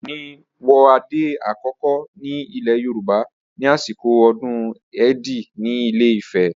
Ọọ̀ni wọ adé àkọ́kọ́ ní ilẹ̀ Yorùbá ní àsìkò ọdún Èdí ní Ilé-Ifẹ̀.